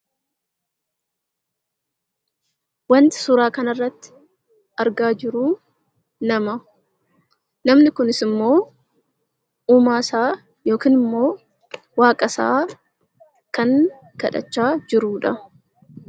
Wanti suuraa kanarratti argaa jirru nama. Namni kunis immoo uumaasaa yookiin waaqasaa kan kadhachaa jirudha.